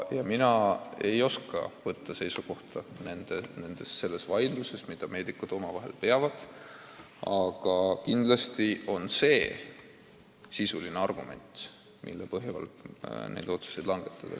Mina ei oska võtta seisukohta selles vaidluses, mida meedikud omavahel peavad, aga kindlasti on tegu kaaluka sisulise argumendiga, mille põhjal otsuseid langetada.